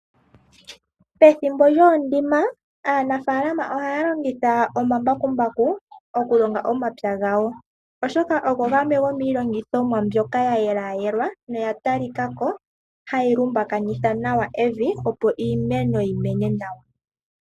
Pethimbo lyoondima, aanafaalama oha ya longitha omambakumbaku okulonga omapya gawo, oshoka ogo gamwe goomilongithomwa mbyoka yayelayelwa noya talikako ha yi lumbukanitha nawa evi opo iimeno yimene nawa.